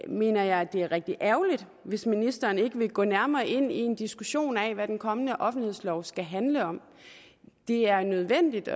mener jeg det er rigtig ærgerligt hvis ministeren ikke vil gå nærmere ind i en diskussion af hvad den kommende offentlighedslov skal handle om det er nødvendigt